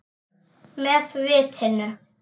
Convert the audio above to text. Með vitinu.